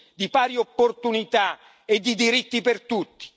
di pari opportunità e di diritti per tutti.